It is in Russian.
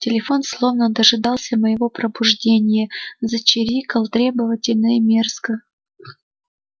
телефон словно дожидался моего пробуждения зачирикал требовательно и мерзко